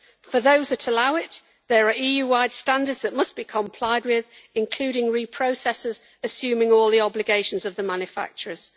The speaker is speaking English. For those that allow it, there are EU wide standards that must be complied with, including reprocessors assuming all the obligations of the manufacturers.